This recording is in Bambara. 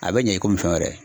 A be ɲɛ i fɛn yɛrɛ.